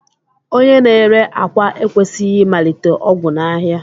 Onye n'ére akwa ekwesighi imalite ogwu nʻáhia.